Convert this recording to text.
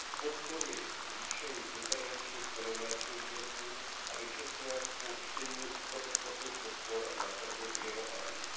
Podporuji zvýšení intervenční ceny mléčných výrobků a dočasné spuštění proexportních podpor na trhy mimo EU.